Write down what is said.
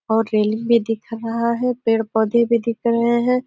और रेलिंग भी दिख रहा है। पेड-पौधे भी दिख रहे हैं।